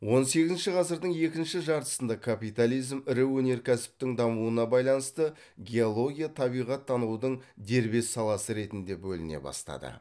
он сегізінші ғасырдың екінші жартысында капитализм ірі өнеркәсіптің дамуына байланысты геология табиғаттанудың дербес саласы ретінде бөліне бастады